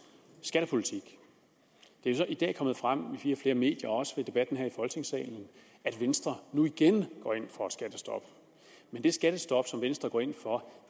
skattepolitik det er jo i dag er kommet frem i flere medier og også i debatten her i folketingssalen at venstre nu igen går ind for et skattestop men det skattestop som venstre går ind for